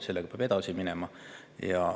Sellega peab edasi minema.